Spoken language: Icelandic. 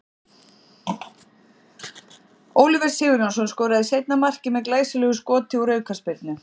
Oliver Sigurjónsson skoraði seinna markið með glæsilegu skoti úr aukaspyrnu.